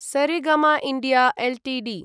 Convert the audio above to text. Saregama India Ltd